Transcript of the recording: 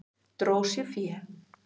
Dró sér fé